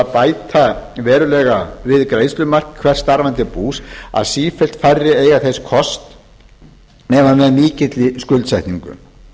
bæta verulega við greiðslumark hvers starfandi bús að sífellt færri eiga þess kost nema með mikilli skuldsetningu